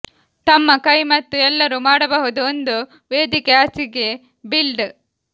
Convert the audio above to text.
ತಮ್ಮ ಕೈ ಮತ್ತು ಎಲ್ಲರೂ ಮಾಡಬಹುದು ಒಂದು ವೇದಿಕೆ ಹಾಸಿಗೆ ಬಿಲ್ಡ್